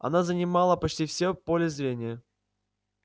она занимала почти всё поле зрения